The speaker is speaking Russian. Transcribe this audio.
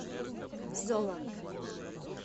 золла